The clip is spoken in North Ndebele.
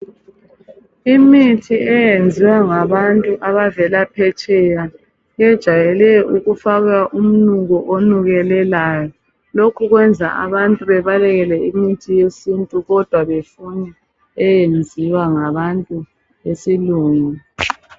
Imithi eyenziwa ngabantu abavela phetsheya ijayele ukufakwa umnuko onukelelayo. Lokhu kwenza abantu babalekele imithi yesintu kodwa bafune eyenziwa ngabantu besilungu.